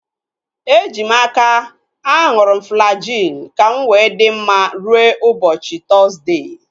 Eji m n'aka, aṅụrụ m Flajil ka mụ wee dị mma rue ụbọchị Tọzdee